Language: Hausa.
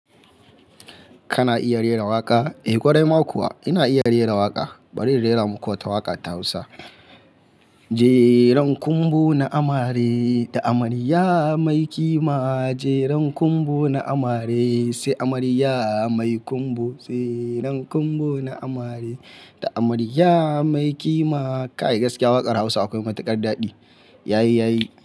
Kana iya rera waƙa? Eh, ƙwarai ma kuwa ina iya rera waƙa. Bari in rera muku wata waƙa ta Hausa. Jeren kunbu na amare da amarya mai ƙima, jeren kunbu na amare sai amarya mai kunbu, jeren kunbu na amare da amarya mai ƙima. Kai gaskiya waƙar Hausa akwai matuƙar daɗi. Yayi, yayi.